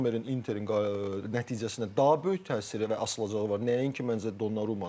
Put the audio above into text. Çünki Zommerin Interin nəticəsinə daha böyük təsiri və asılılığı var, nəinki məncə Donnarumanın.